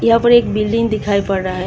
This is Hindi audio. यहां पर एक बिल्डिंग दिखाई पड़ रहा है।